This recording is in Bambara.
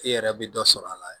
E yɛrɛ bɛ dɔ sɔrɔ a la